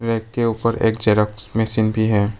इसके ऊपर एक जेरॉक्स मशीन भी है।